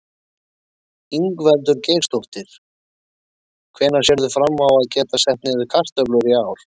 Ingveldur Geirsdóttir: Hvenær sérðu fram á að geta sett niður kartöflur í ár?